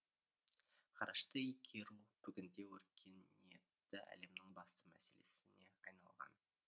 ғарышты игеру бүгінде өркениетті әлемнің басты мәселесіне айналған